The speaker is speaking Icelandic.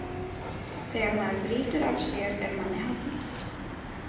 Þegar maður brýtur af sér er manni hafnað.